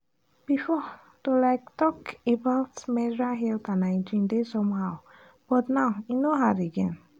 before to um talk about menstrual health and hygiene dey somehow but now e no hard again.